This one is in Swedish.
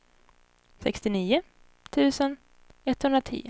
sextionio tusen etthundratio